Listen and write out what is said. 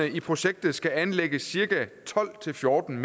i projektet skal anlægges cirka tolv til fjorten